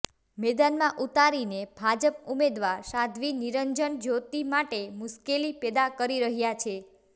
મેદાનમાં ઉતારીને ભાજપ ઉમેદવાર સાધ્વી નિરંજન જ્યોતી માટે મુશ્કેલી પેદા કરી રહ્યા છે